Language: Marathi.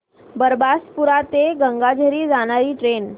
बारबासपुरा ते गंगाझरी जाणारी ट्रेन